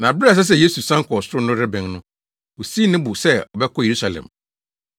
Na bere a ɛsɛ sɛ Yesu san kɔ ɔsoro no rebɛn no, osii ne bo sɛ ɔbɛkɔ Yerusalem.